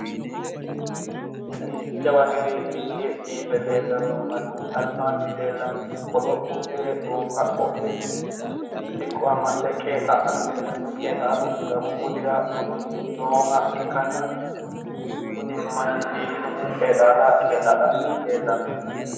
Kuni jawa gede ikke biife leellanno manni albaanni leellannohu qolo uddire gonfa qodhe siqqo amaxxe qeexaa'lanni leellanno qeexaalu siidamu budira budunni nooha ikkanna kuni manni biifinohu qeexaala qeexaa'lanni leellanno.